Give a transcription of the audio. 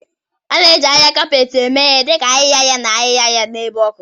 A na-eji ahihia kapeeti eme ihe dị ka ahịhịa ahịhịa na ahịhịa ahịhịa n'ebe ọkụ.